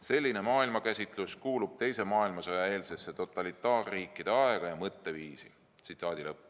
Selline maailmakäsitlus kuulub teise maailmasõja eelsesse totalitaarriikide aega ja mõtteviisi.